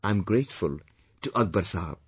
I am grateful to Akbar Sahab